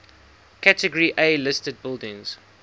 category a listed buildings